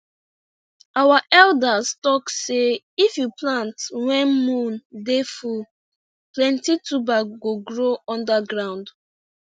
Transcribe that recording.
our elders talk sey if you plant when moon dey full plenty tuber go grow under ground